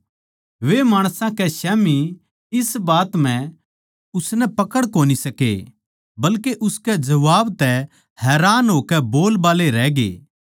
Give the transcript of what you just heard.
वे माणसां कै स्याम्ही इस बात म्ह उसनै पकड़ कोनी सके बल्के उसकै जबाब तै हैरान होकै बोलबाल्ले रहगे